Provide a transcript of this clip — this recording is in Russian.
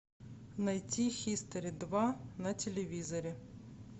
найти хистори два на телевизоре